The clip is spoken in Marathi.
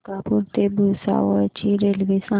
मलकापूर ते भुसावळ ची रेल्वे सांगा